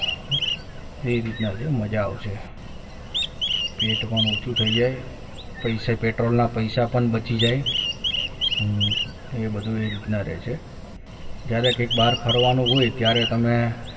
એ રીતના છે મજા આવશે પેટ પણ ઓછું થઈ જાય પૈસા petrol લના પૈસા પણ બચી જાય એ બધું એ રીતના રહે છે જ્યારે કંઈક બહાર ફરવાનું હોય ત્યારે તમે